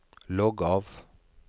logg av